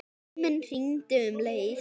Síminn hringdi um leið.